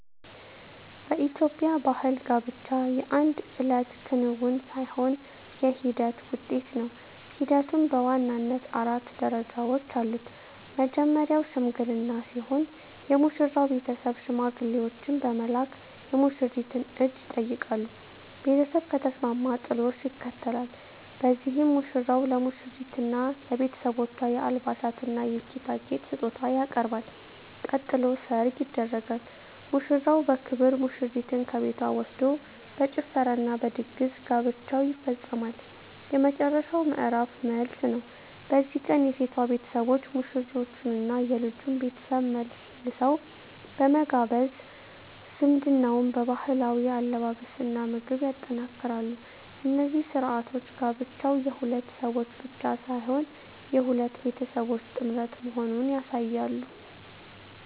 በኢትዮጵያ ባሕል ጋብቻ የአንድ እለት ክንውን ሳይሆን የሂደት ውጤት ነው። ሂደቱም በዋናነት አራት ደረጃዎች አሉት። መጀመርያው "ሽምግልና" ሲሆን፣ የሙሽራው ቤተሰብ ሽማግሌዎችን በመላክ የሙሽሪትን እጅ ይጠይቃሉ። ቤተሰብ ከተስማማ "ጥሎሽ" ይከተላል፤ በዚህም ሙሽራው ለሙሽሪትና ለቤተሰቦቿ የአልባሳትና የጌጣጌጥ ስጦታ ያቀርባል። ቀጥሎ "ሰርግ" ይደረጋል፤ ሙሽራው በክብር ሙሽሪትን ከቤቷ ወስዶ በጭፈራና በድግስ ጋብቻው ይፈጸማል። የመጨረሻው ምዕራፍ "መልስ" ነው። በዚህ ቀን የሴቷ ቤተሰቦች ሙሽሮቹንና የልጁን ቤተሰብ መልሰው በመጋበዝ ዝምድናውን በባህላዊ አለባበስና ምግብ ያጠናክራሉ። እነዚህ ሥርዓቶች ጋብቻው የሁለት ሰዎች ብቻ ሳይሆን የሁለት ቤተሰቦች ጥምረት መሆኑን ያሳያሉ።